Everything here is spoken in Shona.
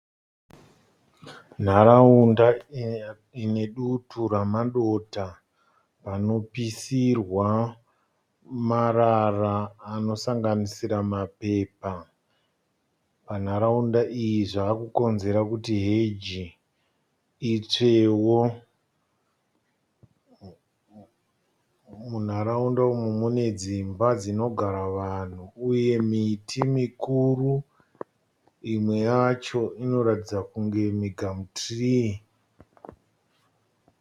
Nharaunda ine dutu ramadota anopisirwa marara anosanganisira mapepa. Panharaunda iyi zvavakukonzera kuti heji itsvewo. Munharaunda umu mune dzimba dzinogara vanhu uye miti mikuru. Imwe yacho inoratidza kunge migamutirii.